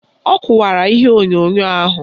Ọ kụwara ihe onyonyo ahụ